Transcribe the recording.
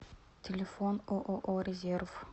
телефон ооо резерв